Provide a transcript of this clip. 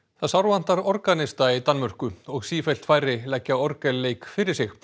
það sárvantar organista í Danmörku og sífellt færri leggja orgelleik fyrir sig